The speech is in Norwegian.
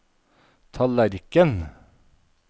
tallerken